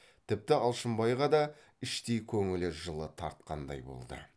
тіпті алшынбайға да іштей көңілі жылы тартқандай болды